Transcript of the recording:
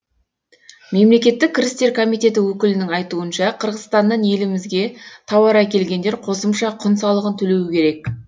мемлекеттік кірістер комитеті өкілінің айтуынша қырғызстаннан елімізге тауар әкелгендер қосымша құн салығын төлеуі керек